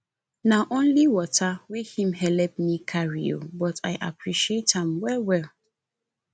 na only water wey him helep me carry o but i appreciate am well well